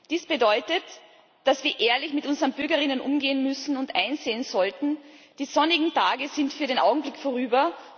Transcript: Dies bedeutet, dass wir ehrlich mit unseren BürgerInnen umgehen müssen und einsehen sollten Die sonnigen Tage sind für den Augenblick vorüber.